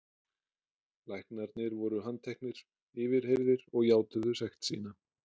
Læknarnir voru handteknir, yfirheyrðir og játuðu sekt sína.